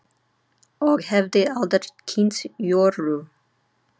Og hefði aldrei kynnst Jóru.